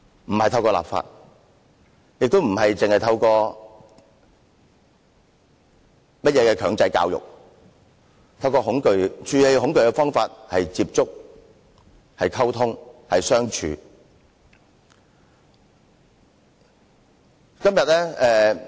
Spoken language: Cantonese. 並非透過立法，亦非透過強制教育，處理恐懼的方法是接觸、溝通和相處。